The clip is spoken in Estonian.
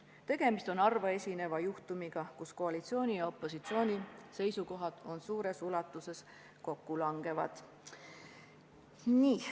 Tegemist on harvaesineva juhtumiga, kus koalitsiooni ja opositsiooni seisukohad suures ulatuses kokku langevad.